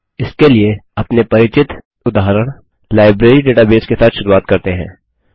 इसके लिए अपने परिचित उदाहरण लाइब्रेरी डेटाबेस के साथ शुरुआत करते हैं